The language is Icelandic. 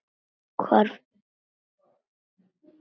Hvar fékkstu þetta?